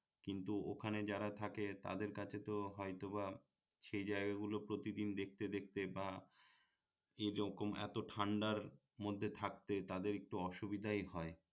কিন্তু ওখানে যারা থাকে তাদের কাছে তো হয়তো বা সেই জায়গাগুলো প্রতি দিন দেখতে দেখতে বা এরকম এত ঠান্ডার মধ্যে থাকতে তাদের একটু অসুবিধাই হয়